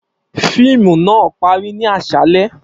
Fiimu naa pari ni aṣalẹ.